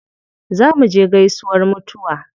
Za muje gaisuwar mutuwa.